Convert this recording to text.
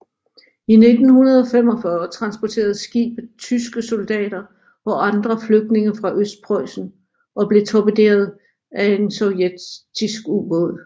I 1945 transporterede skibet tyske soldater og andre flygtninge fra Østpreussen og blev torpederet af en sovjetisk ubåd